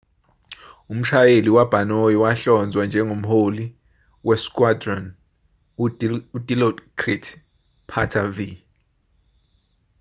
umshayeli wabhanoyi wahlonzwa njengomholi we-squadron u-dilokrit pattavee